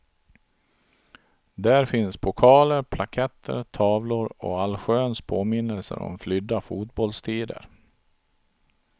Där finns pokaler, plaketter, tavlor och allsköns påminnelser om flydda fotbollstider.